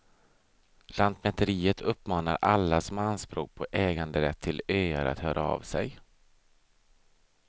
Lantmäteriet uppmanar alla som har anspråk på äganderätt till öar att höra av sig.